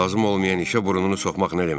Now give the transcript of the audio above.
Lazım olmayan işə burnunu soxmaq nə deməkdir?